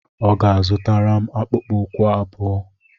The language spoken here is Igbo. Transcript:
Ọ ga-azụtara m akpụkpọ ụkwụ abụọ.